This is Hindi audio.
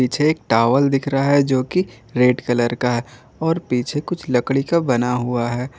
पीछे एक टॉवल दिख रहा है जोकि रेड कलर का और पीछे कुछ लकड़ी का बना हुआ है।